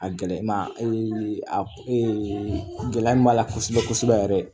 A gɛlɛma a gɛlɛya min b'a la kosɛbɛ kosɛbɛ yɛrɛ